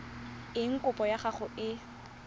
eng kopo ya gago e